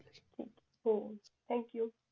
हो thank U